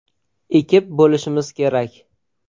ekib bo‘lishimiz kerak.